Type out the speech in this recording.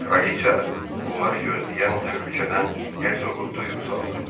Kraliça onları gözləyən təhlükədən Hercoqu duyuq saldı.